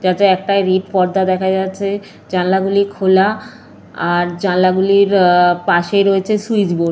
যাতে একটা রেড পর্দা দেখা যাচ্ছে। জানলাগুলো খোলা আর জানলাগুলির আঃ পাশে রয়েছে সুইচবোর্ড ।